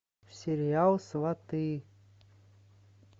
сериал сваты